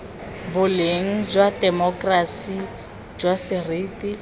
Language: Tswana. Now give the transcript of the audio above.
boleng jwa temokerasi jwa seriti